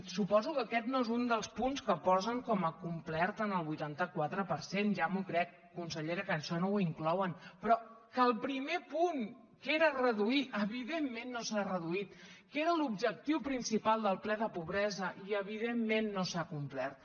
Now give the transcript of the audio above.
suposo que aquest no és un dels punts que posen com a complert en el vuitanta quatre per cent ja m’ho crec consellera que això no ho inclouen però que el primer punt que era reduir evidentment no s’ha reduït que era l’objectiu principal del ple de pobresa i evidentment no s’ha complert